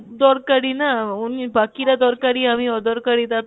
দরকারি না. উনি বাকি রা দরকারি আমি অদরকারি তা তো না?